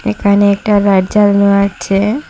এখানে একটা লাইট জ্বালানো আছে।